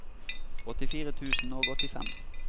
åttifire tusen og åttifem